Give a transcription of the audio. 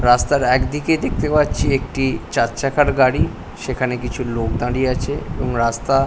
রাস্তার একদিকে দেখতে পাচ্ছি একটি চার চাকার গাড়ি। সেখানে কিছু লোক দাঁড়িয়ে আছে এবং রাস্তা --